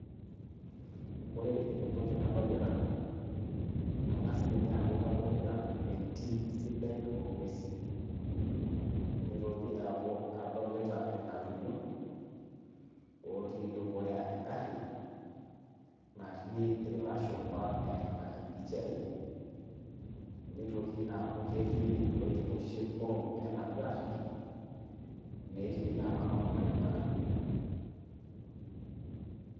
Ore entoki nadolita, ang'as ninye aku kadolita entim sidai o ng'uesin. Nitoki aaku adolita irng'atunyo otii dukuya egarri, natii ilashumpa eita impishai. Nitoki aaku ketii iloitikoshi kurum enaduo arri, netii na orbaribara.